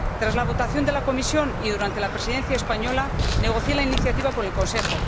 Tras la votación en la Comisión de Pesca y durante la Presidencia española, negocié la iniciativa con el Consejo.